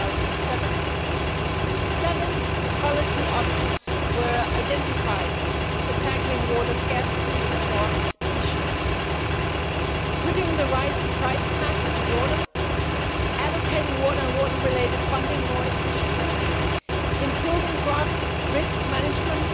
2007. Seven policy options were identified for tackling water scarcity and drought issues putting the right price tag on water, allocating water and water related funding more efficiently, improving drought risk management,